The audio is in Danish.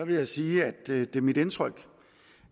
vil jeg sige at det er mit indtryk